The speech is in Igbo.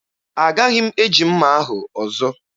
Agaghị m eji mma ahụ ọzọ.